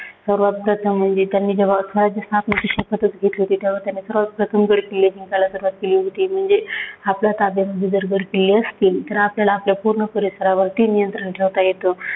सर्वांत प्रथम म्हणजे त्यांनी जेव्हा स्वराज्य स्थापनेची शपथचं घेतली होती, तेव्हा त्यांनी सर्वांत प्रथम गड किल्ले जिंकायला सुरुवात केली होती. म्हणजे आपल्या ताब्यात गड किल्ले असतील तर आपल्याला आपल्या पूर्ण परिसरात नियंत्रण ठेवता येतं.